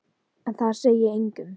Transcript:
En það segi ég engum.